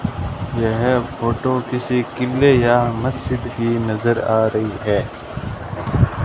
यह फोटो किसी किले या मस्जिद की नजर आ रही है।